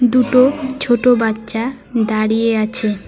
দুটো ছোট বাচ্চা দাঁড়িয়ে আছে।